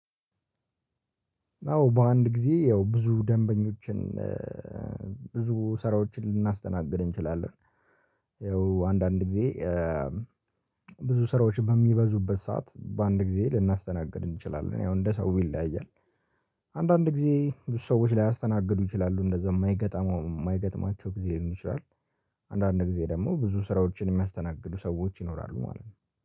አዎ በአንድ ጊዜ ያው ብዙ ደንበኞችን ብዙ ስራዎችን ልናስተናግድ እንችላለን። ይኸው አንዳንድ ጊዜ ብዙ ስራዎች በሚበዙበት ሰዓት በአንድ ጊዜ ልናስተናግድ እንችላለን ያው እንደ ሰው ይለያያል። አንዳንድ ጊዜ ብዙ ሰዎች ላይ ያስተናግዱ ይችላሉ እንደዛ የማይገጥማው የማይገጥማቸው ጊዜ ይሆናል። አንዳንዴ ደግሞ ብዙ ስራዎችን የሚያስተናግዱ ሰዎች ይኖራሉ ማለት ነው